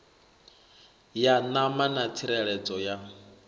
ya ṋama na tsireledzo ya